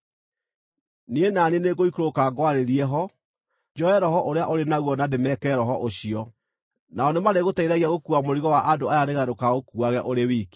Niĩ na niĩ nĩngũikũrũka ngwarĩrie ho, njoe Roho ũrĩa ũrĩ naguo na ndĩmekĩre Roho ũcio. Nao nĩmarĩgũteithagia gũkuua mũrigo wa andũ aya nĩgeetha ndũkaũkuuage ũrĩ wiki.